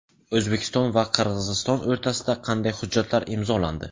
O‘zbekiston va Qirg‘iziston o‘rtasida qanday hujjatlar imzolandi?.